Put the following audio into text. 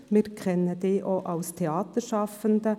Wir kennen Sie auch als Theaterschaffender.